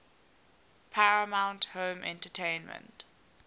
paramount home entertainment